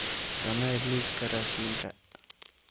samee liiska raashinka